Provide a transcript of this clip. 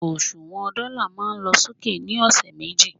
òṣùwàn dọ́là ma lọ sókè ni ọsẹ̀ méjì